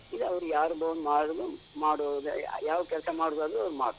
ಈಗ ಅವ್ರು ಯಾರ್ದೋ ಒಂದ್ ಮಾಡುದ್, ಮಾಡುವುದ ಯಾವ ಕೆಲ್ಸ ಮಾಡುದಾದ್ರು ಅವ್ರು ಮಾಡ್ಬೋದು.